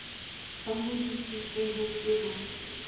ba hodisitswe ho se na